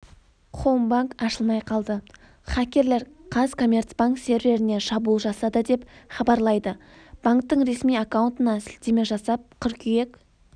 хоумбанк ашылмай қалды хакерлер қазкоммерцбанк серверіне шабуыл жасады деп хабарлайды банктің ресми аккаунтына сілтеме жасап қыркүйек